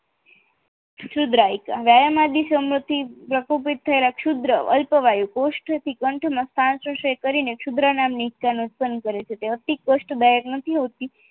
સુશુદ્રાયકા વ્યાયામ થી સમૃદ્ધિ પ્રકોપિત થયેલા સુદ્ર અલ્પવાયુ પોસ્ટથી કંઠ મસ્નતાથી વાયુ મસ્તાનું કરી શુદ્ર નામોની કરે છે તે અતિ કોષ્ટ દાયક નથી હોતું